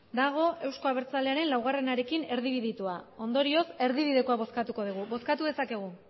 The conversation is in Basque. dago eusko abertzalearen laurekin erdibidetua ondorioz erdibikoa bozkatuko dugu bozkatu dezakegu